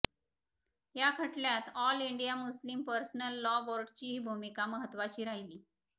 या खटल्यात all India Muslim personal law बोर्डाचीही भूमिका महत्त्वाची राहिली